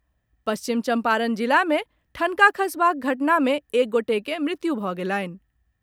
पश्चिम चम्पारण जिला मे ठनका खसबाक घटना मे एक गोटे के मृत्यु भऽ गेलनि।